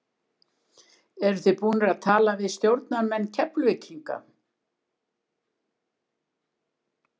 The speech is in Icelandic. Eru þið búnir að tala við stjórnarmenn Keflvíkinga?